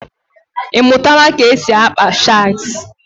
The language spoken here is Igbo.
Ịmụtala ka e si akpa shagz?